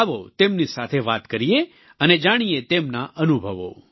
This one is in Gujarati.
આવો તેમની સાથે વાત કરીએ અને જાણીએ તેમના અનુભવો